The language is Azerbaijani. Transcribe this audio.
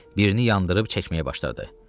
Birini yandırıb çəkməyə başladı.